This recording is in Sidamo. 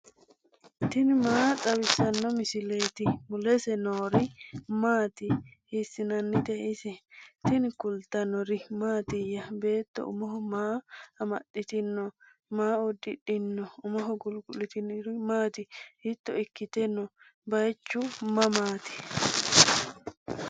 tini maa xawissanno misileeti? mulese noori maati? hiisinaanite ise? tinni kulitannori maatiya? beetto umo maa amaxxitinno? maa udidhinno? umoho guligu'littinori maati? hiitto ikkite noo? baayiichu mamaatti?